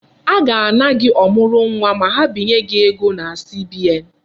A ga-ana gị ọmụrụnwa ma ha binye gị ego na CBN.